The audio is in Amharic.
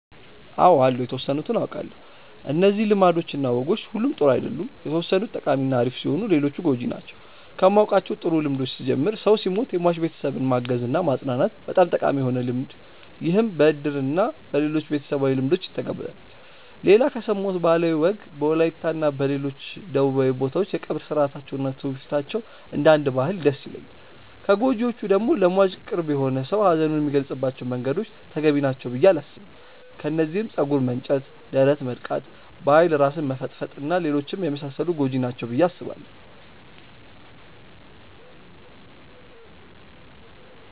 አው አሉ የተወሰኑትን አውቃለው። እነዚህ ልማዶች እና ወጎች ሁሉም ጥሩ አይደሉም የተወሰኑት ጠቃሚ እና አሪፍ ሲሆኑ ሌሎቹ ጎጂ ናቸው። ከማውቃቸው ጥሩ ልምዶች ስጀምር ሰው ሲሞት የሟች ቤተሰብን ማገዝ እና ማፅናናት በጣም ጠቃሚ የሆነ ልምድ ይህም በእድር እና በሌሎችም ቤተሰባዊ ልምዶች ይተገበራል። ሌላ ከሰማሁት ባህላዊ ወግ በወላይታ እና ሌሎች ደቡባዊ ቦታዎች የቀብር ስርአታቸው እና ትውፊታቸው እንደ አንድ ባህል ደስ ይለኛል። ከጎጂዎቹ ደግሞ ለሟች ቅርብ የሆነ ሰው ሀዘኑን የሚገልፀባቸው መንገዶች ተገቢ ናቸው ብዬ አላስብም። ከነዚህም ፀጉር መንጨት፣ ደረት መድቃት፣ በኃይል ራስን መፈጥፈጥ እና ሌሎችም የመሳሰሉት ጎጂ ናቸው ብዬ አስባለው።